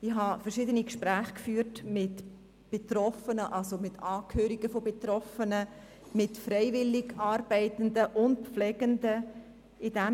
Ich habe verschiedene Gespräche mit Angehörigen von Betroffenen sowie mit Freiwilligen und Pflegenden geführt.